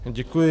Děkuji.